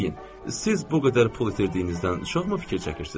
Deyin, siz bu qədər pul itirdiyinizdən çoxmu fikir çəkirsiz?